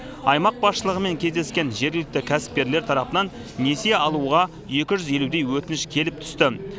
аймақ басшылығымен кездескен жергілікті кәсіпкерлер тарапынан несие алуға екі жүз елудей өтініш келіп түсті